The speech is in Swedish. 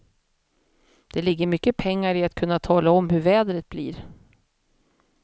Det ligger mycket pengar i att kunna tala om hur vädret blir.